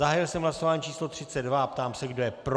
Zahájil jsem hlasování číslo 32 a ptám se, kdo je pro.